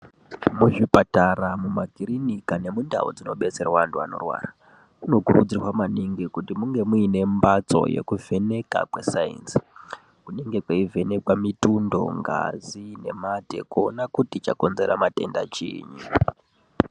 Muzvipatara, mumakirinika nemundau dzinodetserwa antu anorwara, munokurudzirwa maningi kuti munge muine mhatso yekuvheneka kwesainzi, kweivhenekwa mitundo nengazi nemate kuona kuti chakonzera matenda chinyi.